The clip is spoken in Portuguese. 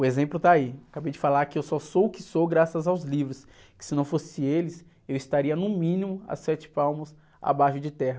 O exemplo está aí, acabei de falar que eu só sou o que sou graças aos livros, que se não fossem eles eu estaria no mínimo a sete palmos abaixo de terra.